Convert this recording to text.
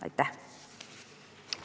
Aitäh!